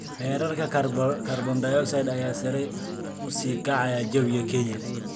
Heerarka kaarboon-dioxide ayaa sare u sii kacaya jawiga Kenya.